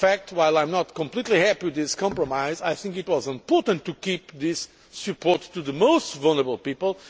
While I am not completely happy with this compromise, I think it was important to maintain this support for the most vulnerable people.